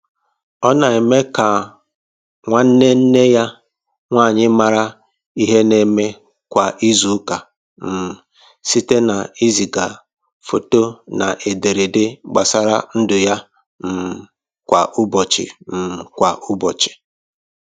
Ọ na eme ka nwanne nne ya nwanyị mara ihe na eme kwa izu ụka um site na iziga foto na edere ede gbasara ndụ ya um kwa ụbọchị um kwa ụbọchị